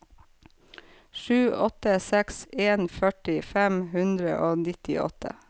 sju åtte seks en førti fem hundre og nittiåtte